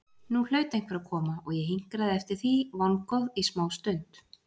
Nú hlaut einhver að koma og ég hinkraði eftir því vongóð í smástund.